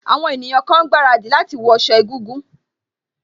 Àwọn ọ̀wọ́ ènìyàn kan ń gbaradì láti wọ sọ egúngún